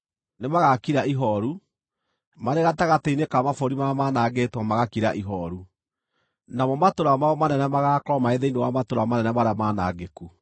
“ ‘Nĩmagakira ihooru, marĩ gatagatĩ-inĩ ka mabũrũri marĩa manangĩtwo, magakira ihooru, namo matũũra mao manene magaakorwo marĩ thĩinĩ wa matũũra manene marĩa manangĩku.